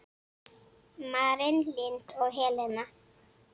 Maren Lind og Helena.